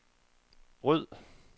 ryd